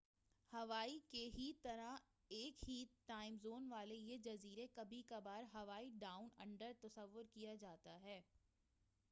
ہوائی کی ہی طرح ایک ہی ٹائم زون والے یہ جزیرے کبھی کبھار ہوائی ڈاؤن انڈر تصور کیا جاتا ہے